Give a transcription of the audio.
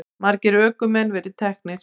Margir ökumenn verið teknir